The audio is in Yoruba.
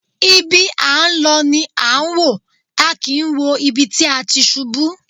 Ibi à ń lọ ni à wò, a kìí wo ibi tí a ti ṣubú.